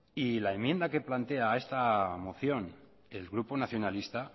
y la enmienda que plantea esta moción el grupo nacionalista